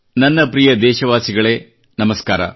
ನನ್ನ ಪ್ರಿಯ ದೇಶವಾಸಿಗಳೇ ನಮಸ್ಕಾರ